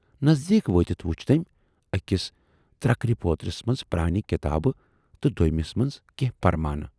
نٔزدیٖک وٲتِتھ وُچھ تمٔۍ ٲکِس ترکرِ پٲترِس مَنز پرانہِ کِتابہٕ تہٕ دویمِس مَنز کینہہ پرمانہٕ۔